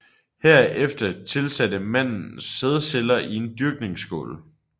Herefter tilsatte man mandens sædceller i en dyrkningsskål